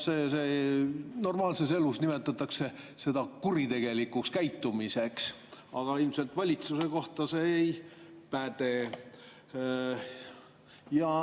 Normaalses elus nimetatakse seda kuritegelikuks käitumiseks, aga ilmselt valitsuse kohta see ei.